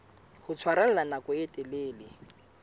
ho tshwarella nako e telele